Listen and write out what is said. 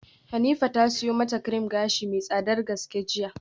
Hanifa ta siyo mata cream gashi mai tsadar gaske jiya.